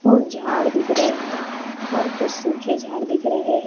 और झाड़ दिख रहे है और कुछ सूखे झाड़ दिख रहे--